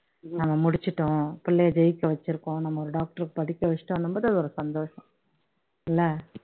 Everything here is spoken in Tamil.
நம்ம முடிச்சுட்டோம் புள்ளைய ஜெயிக்க வச்சுருக்கோம் நம்ம டொக்டொர் க்கு படிக்க வச்சுட்டொன்னும்போது அது ஒரு சந்தோஷம் இல்ல